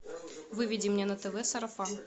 выведи мне на тв сарафан